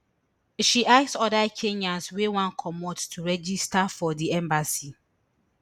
she ask oda kenyans wey wan comot to register for di embassy